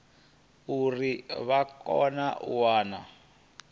uri vha kone u wana